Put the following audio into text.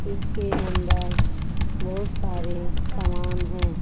इसके अंदर बहुत सारे सामान हैं।